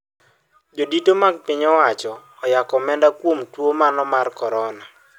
Jodito mag piny owacho oyako omenda kuom tuo mano mar corona